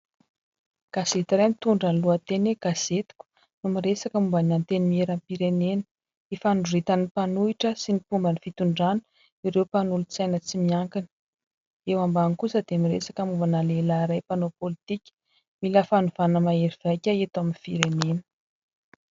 Gazety iray mitondra ny lohateny "gazetiko" no miresaka momban'ny antenimiera-pirenena; ifandroritan'ny mpanohitra sy ny mpomban'ny fitondrana ireo mpanolontsaina tsy miankina, eo ambany kosa dia miresaka mombana lehilahy iray mpanao politika : "mila fanovana maherivaika eto amin'ny firenena".